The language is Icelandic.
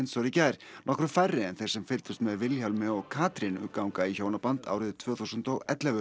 gær nokkru færri en þeir sem fylgdust með Vilhjálmi og Katrínu ganga í hjónaband árið tvö þúsund og ellefu